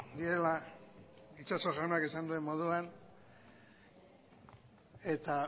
direla itxaso jaunak esan duen moduan eta